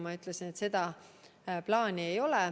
Ma ütlesin, et sellist plaani ei ole.